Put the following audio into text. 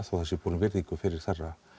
það sé borin virðing fyrir þeirra